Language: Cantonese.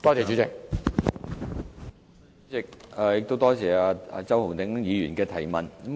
主席，多謝周浩鼎議員的補充質詢。